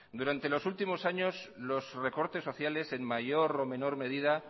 durante los últimos años los recortes sociales en mayor o menor medida